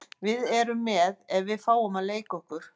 Við erum með ef við fáum að leika okkur.